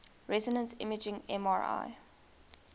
resonance imaging mri